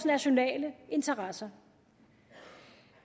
nationale interesser